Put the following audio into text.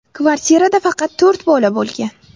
Kvartirada faqat to‘rt bola bo‘lgan.